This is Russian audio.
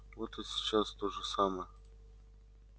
вот и сейчас то же самое